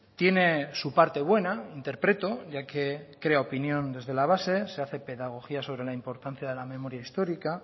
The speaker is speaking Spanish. tiene su parte buena interpreto ya que crea opinión desde la base se hace pedagogía sobre la importancia de la memoria histórica